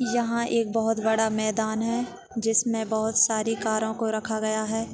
यहाँ एक बहुत बड़ा मैदान है जिसमे बहुत सारी कारो को रखा गया है